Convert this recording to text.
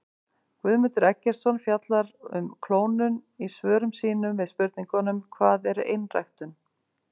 Guðmundur Eggertsson fjallar um klónun í svörum sínum við spurningunum Hvað er einræktun?